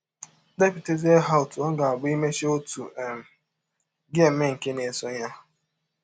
Depụtazie ha ọtụ ọ ga - abụ i mechaa ọtụ um, gị emee nke na - esọ ya.